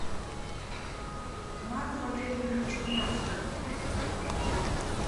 тамару валерьевну чернявскую